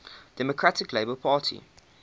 democratic labour party